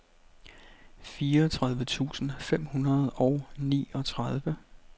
fireogtredive tusind fem hundrede og niogtredive